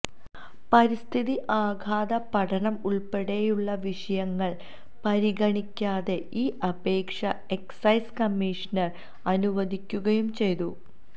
പരിസ്ഥിതി ആഘാത പഠനം ഉള്പ്പെടെയുള്ള വിഷയങ്ങള് പരിഗണിക്കാതെ ഈ അപേക്ഷ എക്സൈസ് കമ്മിഷണര് അനുവദിക്കുകയും ചെയ്തു